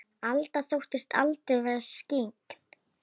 Alda þóttist aldrei vera skyggn.